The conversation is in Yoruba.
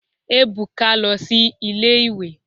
Ebuka lo si ile-iwe